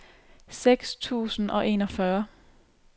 seks tusind og enogtyve